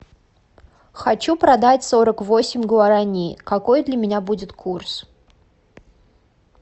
хочу продать сорок восемь гуарани какой для меня будет курс